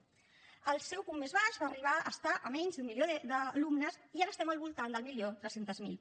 al seu punt més baix va arribar a estar a menys d’un milió d’alumnes i ara estem al voltant del milió tres cents miler